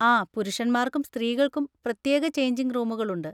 ആ, പുരുഷന്മാർക്കും സ്ത്രീകൾക്കും പ്രത്യേക ചെയ്ഞ്ചിങ് റൂമുകളുണ്ട്.